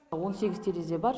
он сегіз терезе бар